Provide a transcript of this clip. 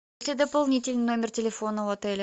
дополнительный номер телефона у отеля